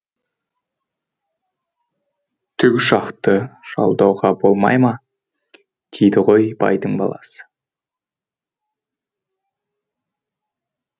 тікұшақты жалдауға болмай ма дейді ғой байдың баласы